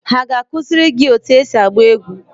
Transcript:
Ha ga-akụziri gị otú esi agba egbe?